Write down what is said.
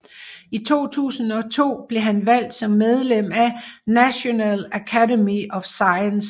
I 2002 blev han valgt som medlem af National Academy of Sciences